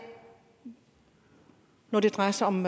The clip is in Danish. når det drejer sig om